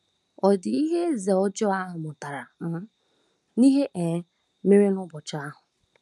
Ọ̀ dị ihe eze ọjọọ a mụtara um n’ihe um mere n’ụbọchị ahụ?